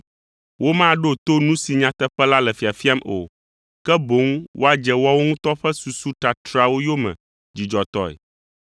Womaɖo to nu si nyateƒe la le fiafiam o, ke boŋ woadze woawo ŋutɔ ƒe susu tatrawo yome dzidzɔtɔe.